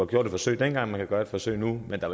gjort et forsøg dengang man kan gøre et forsøg nu men der